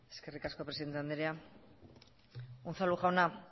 eskerrik asko presidente andrea unzalu jauna